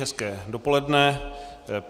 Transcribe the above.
Hezké dopoledne.